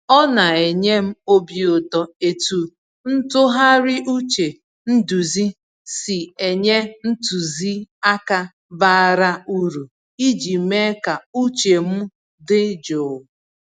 Ọ na enye m obi ụtọ etu ntụgharị uche nduzi si enye ntụziaka bara uru iji mee ka uche m dị jụụ.